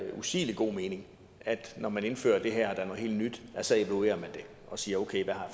usigelig god mening at når man indfører det her der er noget helt nyt så evaluerer man det og siger okay hvad har